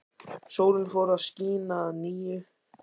Sólin fór að skína að nýju.